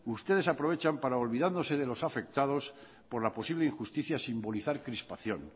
ustedes aprovechan para olvidándose de los afectados por la posible injusticia simbolizar crispación